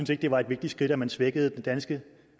det var et vigtigt skridt at man svækkede den danske